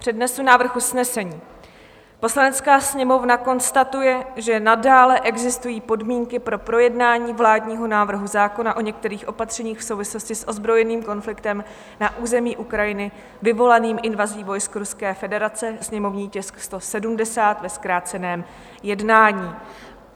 Přednesu návrh usnesení: "Poslanecká sněmovna konstatuje, že nadále existují podmínky pro projednání vládního návrhu zákona o některých opatřeních v souvislosti s ozbrojeným konfliktem na území Ukrajiny vyvolaným invazí vojsk Ruské federace, sněmovní tisk 170, ve zkráceném jednání."